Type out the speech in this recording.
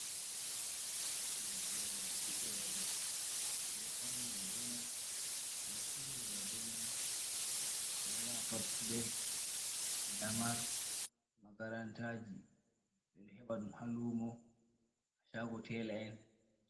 Toggol Roube ɓe do faunira be mai, be do surira be mai, ɓe do yahapatulei, lamar, makarantaji ɓe do heba ɗum ha luumo, chaago teela en.